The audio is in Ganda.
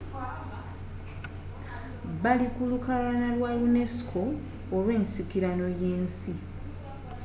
bali ku lukalala lwa unesco olw'ensikirano y'ensi